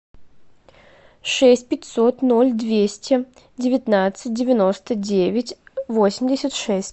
шесть пятьсот ноль двести девятнадцать девяносто девять восемьдесят шесть